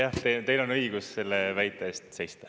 Jah, teil on õigus selle väite eest seista.